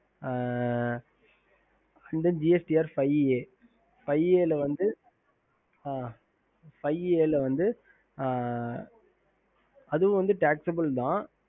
ஹம்